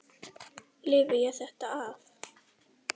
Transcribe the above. Lifi ég þetta af?